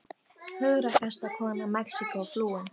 Hugrakkasta kona Mexíkó flúin